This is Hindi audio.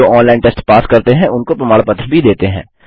जो ऑनलाइन टेस्ट पास करते हैं उनको प्रमाण पत्र भी देते हैं